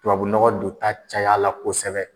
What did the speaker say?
Tubabunɔgɔ don taa cayala kosɛbɛ